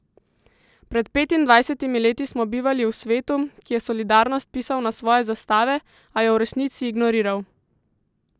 Pred petindvajsetimi leti smo bivali v svetu, ki je solidarnost pisal na svoje zastave, a jo v resnici ignoriral.